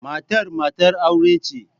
Matar matar aure ce.